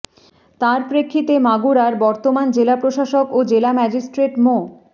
তার প্রেক্ষিতে মাগুরার বর্তমান জেলা প্রশাসক ও জেলা ম্যাজিস্ট্রেট মো